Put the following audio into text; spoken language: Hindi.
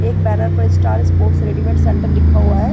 एक बैनर पर स्टार स्पोर्ट्स रेडीमेड सेण्टर लिखा हुआ है।